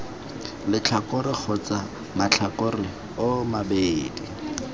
letlhakore kgotsa matlhakore oo mabedi